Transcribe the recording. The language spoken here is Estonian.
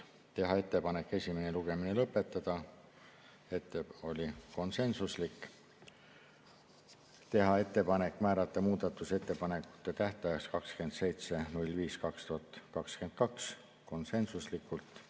Otsustati teha ettepanek esimene lugemine lõpetada, see ettepanek oli konsensuslik; teha ettepanek määrata muudatusettepanekute tähtajaks 27. mai 2022, see tehti konsensuslikult;